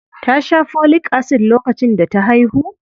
Ta sha Folic Acid lokacin da ta haihu?